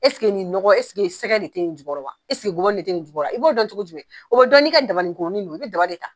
nin nɔgɔ sɛgɛ de te nin jukɔrɔ wa? gɔbɔnni de te nin jukɔrɔ wa? I b'o dɔn cogo jumɛ? O be dɔn n'i ka dabanin kuruni de ye wo, i be daba de ta.